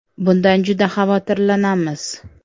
Bundan juda xavotirlanamiz.